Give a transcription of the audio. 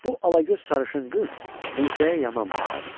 Bu alagöz sarışın qız Mirzəyə yaman baxardı.